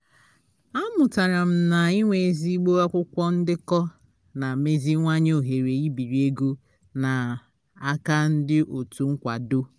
amụtara m na inwe ezigbo akwụkwọ ndekọ na meziwanye ohere ibiri ego na-aka ndị otu nkwado